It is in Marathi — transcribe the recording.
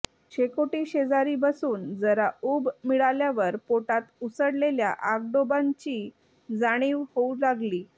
शेकोटीशेजारी बसून जरा ऊब मिळाल्यावर पोटात उसळलेल्या आगडोंबाची जाणीव होऊ लागली